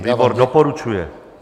Výbor doporučuje.